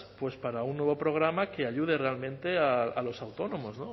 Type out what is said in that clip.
pues para un nuevo programa que ayude realmente a los autónomos